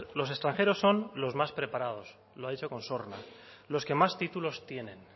los extranjeros son los más preparados lo ha dicho con sorna los que más títulos tienen